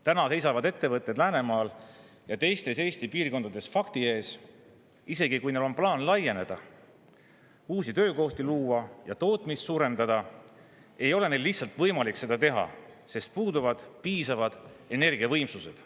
Täna seisavad ettevõtjad Läänemaal ja teistes Eesti piirkondades fakti ees: isegi kui neil on plaan laieneda, uusi töökohti luua ja tootmist suurendada, ei ole neil lihtsalt võimalik seda teha, sest puuduvad piisavad energiavõimsused.